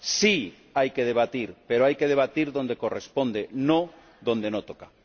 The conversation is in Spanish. Sí, hay que debatir, pero hay que debatir donde corresponde, no donde no toca.